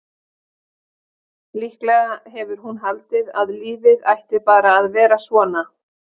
Líklega hefur hún haldið að lífið ætti bara að vera svona.